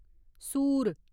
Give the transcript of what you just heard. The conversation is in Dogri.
सूर